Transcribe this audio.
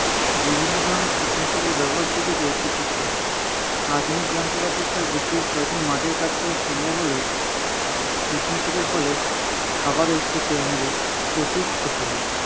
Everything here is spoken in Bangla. বিভিন্ন ধরনের কীটনাশকের ব্যবহার শিখেছে কৃষকগণ। আধুনিক যন্ত্রপাতির সাহায্যে খুব সহজে মাঠের কাজ করা সম্ভব হলেও, কীটনাশকের ফলে, খাবার ক্ষেতে আমাদের প্রচুর ক্ষতি হয়।